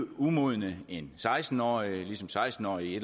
umodne end seksten årige ligesom seksten årige i